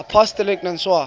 apostolic nuncios